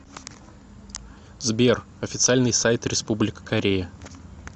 сбер официальный сайт республика корея